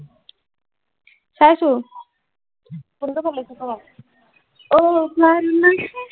চাইছো কোনটো ভাল লাগিছে ক অহ বাৰ নাচি